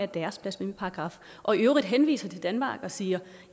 deres blasfemiparagraf og i øvrigt henviser til danmark og siger